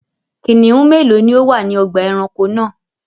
Kìnnìún mélòó ni ó wà ní ọgbà-ẹranko náà?